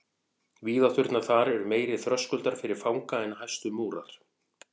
Víðátturnar þar eru meiri þröskuldur fyrir fanga en hæstu múrar.